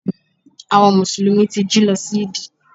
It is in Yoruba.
Àwon mùsùlùmí ti jí lo sí Yídì